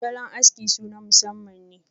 salon aski su na masamman ne.